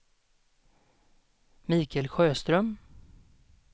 Mikael Sjöström